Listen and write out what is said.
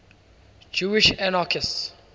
jewish anarchists